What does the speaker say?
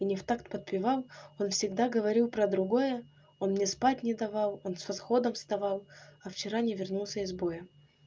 и не в такт подпевал он всегда говорил про другое он мне спать не давал он с восходом вставал а вчера не вернулся из боя